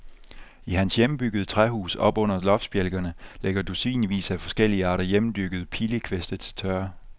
I hans hjemmebyggede træhus, oppe under loftsbjælkerne, ligger dusinvis af forskellige arter hjemmedyrkede pilekviste til tørre.